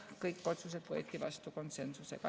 Kõik otsused võeti vastu konsensusega.